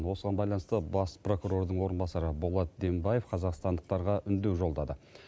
осыған байланысты бас прокурордың орынбасары болат дембаев қазақстандықтарға үндеу жолдады